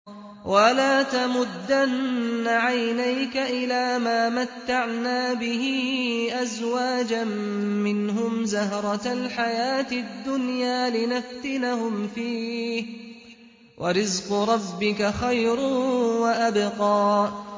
وَلَا تَمُدَّنَّ عَيْنَيْكَ إِلَىٰ مَا مَتَّعْنَا بِهِ أَزْوَاجًا مِّنْهُمْ زَهْرَةَ الْحَيَاةِ الدُّنْيَا لِنَفْتِنَهُمْ فِيهِ ۚ وَرِزْقُ رَبِّكَ خَيْرٌ وَأَبْقَىٰ